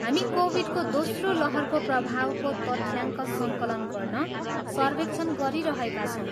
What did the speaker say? हामी कोभिडको दोस्रो लहरको प्रभावको तथ्याङ्क सङ्कलन गर्न सर्वेक्षण गरिरहेका छौँ।